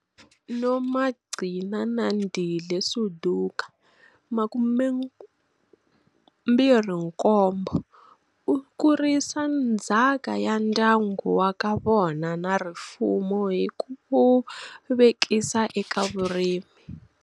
Nomagcinandile Suduka, 27, u kurisa ndzhaka ya ndyangu wa ka vona na rifumo hi ku vekisa eka vurimi.